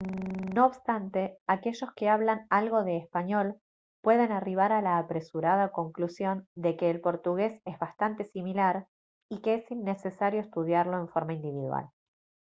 no obstante aquellos que hablan algo de español pueden arribar a la apresurada conclusión de que el portugués es bastante similar y que es innecesario estudiarlo en forma individual